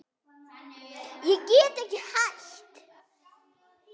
Ég get ekki hætt.